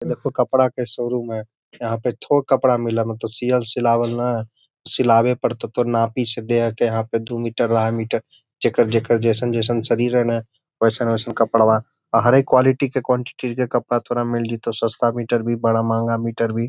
देखो कपड़ा के शोरूम है यहाँ पे थो कपड़ा मिल है मतलब सियल सियावल नय सिलावे पड़तो तोर नापी से देके दू मीटर आढाई मीटर जेकर-जेकर जइसन जइसन शरीर है ने ओसन ओसन कपड़वा बाहरे कवालिटी के कवनटीटी के कपड़ा तोरा मिल जितव सस्ता मीटर भी बड़ा महंगा मीटर भी |